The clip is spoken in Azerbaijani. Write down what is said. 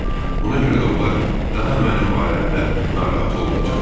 Ona görə də onlar daha mənim barəmdə narahat olmayacaqlar.